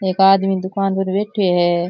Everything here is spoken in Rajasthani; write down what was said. एक आदमी दुकान पर बैठो है।